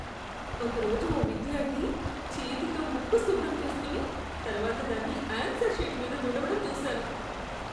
ఒకరోజు ఓ విద్యార్థి చేతితో ముక్కు శుభ్రం చేస్కొని, తర్వాత దాన్ని ఆన్సర్ షీట్ మీద తుడవడం చూశాను.